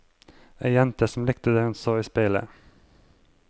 Ei jente som likte det hun så i speilet.